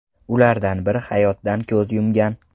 Ulardan biri hayotdan ko‘z yumgan.